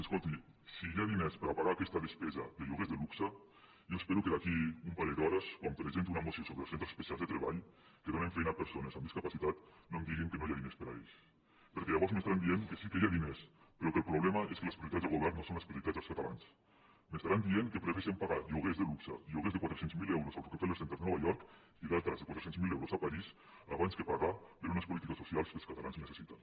escolti si hi ha diners per a pagar aquesta despesa de lloguers de luxe jo espero que d’aquí a un parell d’hores quan presenti una moció sobre els centres especials de treball que donen feina a persones amb discapacitat no em diguin que no hi ha diners per a ells perquè llavors m’estaran dient que sí que hi ha diners però que el problema és que les prioritats del govern no són les prioritats dels catalans m’estaran dient que prefereixen pagar lloguers de luxe lloguers de quatre cents miler euros al rockefeller center de nova york i altres de quatre cents miler euros a parís abans que pagar per unes polítiques socials que els catalans necessiten